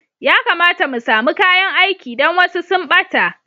Ya kamata mu samu kayan aiki don wasu sun ɓata.